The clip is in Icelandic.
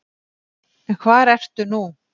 En hvar ertu nú?